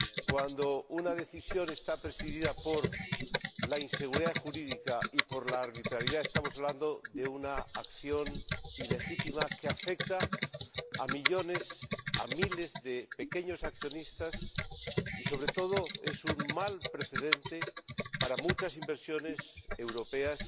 Cuando una decisión está presidida por la inseguridad jurídica y por la arbitrariedad, estamos hablando de una acción ilegítima que afecta a miles de pequeños accionistas y que, sobre todo, sienta un mal precedente para muchas inversiones europeas